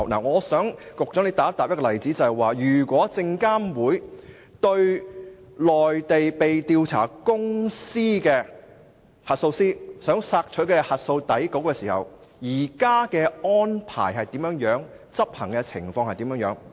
我想以一個例子，希望局長回答，對於內地被調查公司的核數師如想索取核數底稿，證監會現時的安排及執行情況為何？